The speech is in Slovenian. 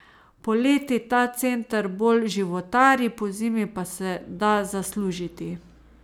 Poleti ta center bolj životari, pozimi pa se da zaslužiti.